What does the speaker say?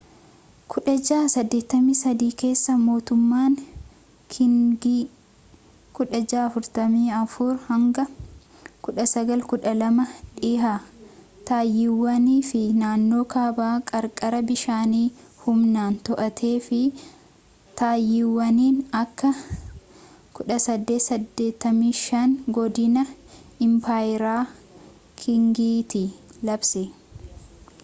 1683 keessa mootummaan kiingii 1644-1912 dhiha taayiwaan fi naannoo kaaba qarqara bishaanii humnaan to’atee fi taayiwaaniin akka 1885 godina impaayera kiingiitti labse